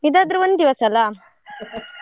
ಇದಾದ್ರು ಒಂದಿವಸ ಅಲ್ಲಾ .